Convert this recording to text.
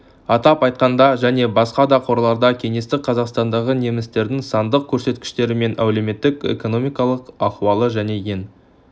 атап айтқанда және басқа да қорларда кеңестік қазақстандағы немістердің сандық көрсеткіштері мен әлеуметтік-экономикалық ахуалы және ең